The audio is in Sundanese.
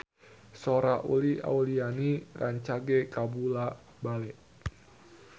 Sora Uli Auliani rancage kabula-bale